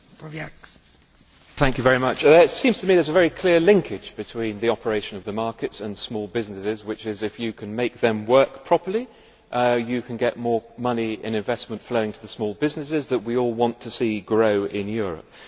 Madam President, it seems to me there is a very clear linkage between the operation of the markets and small businesses, namely if you can make them work properly, you can get more money in investment flowing to the small businesses that we all want to see growing in Europe.